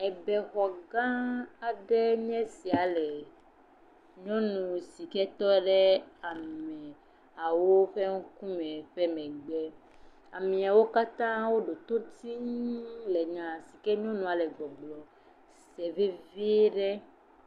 Be xɔ gã aɖe enye esia le nyɔnu si ke tɔ ɖe amehawo ƒe ŋkume ƒe megbe. Amewo katã woɖoto tii le nya si ke nyɔnua le gbɔgblɔm sem vevie ɖe.